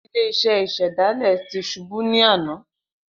Ile-iṣẹ isedale ti ṣubu ni ana